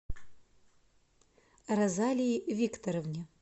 розалии викторовне